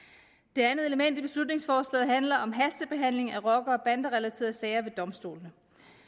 det andet element i beslutningsforslaget handler om hastebehandling af rocker og banderelaterede sager ved domstolene